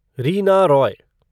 Reena Roy